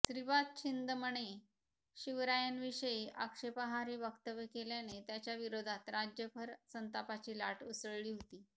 श्रीपाद छिंदमने शिवरायांविषयी आक्षेपार्ह वक्तव्य केल्याने त्याच्याविरोधात राज्यभर संतापाची लाट उसळली होती